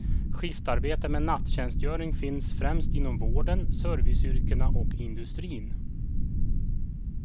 Skiftarbeten med natttjänstgöring finns främst inom vården, serviceyrkena och industrin.